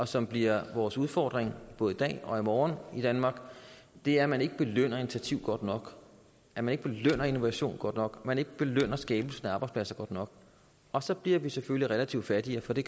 som bliver vores udfordring både i dag og i morgen i danmark er at man ikke belønner initiativ godt nok at man ikke belønner innovation godt nok at man ikke belønner skabelsen af arbejdspladser godt nok og så bliver vi selvfølgelig relativt fattigere for de